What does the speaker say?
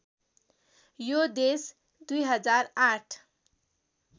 यो देश २००८